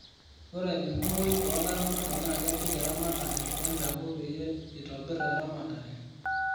ore enkumoi oo laramatak naa kepik eramatare empeku peyiee itobir eramatare